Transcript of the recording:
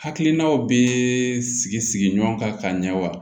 Hakilinaw bɛ sigi sigi ɲɔgɔn kan ka ɲɛ wa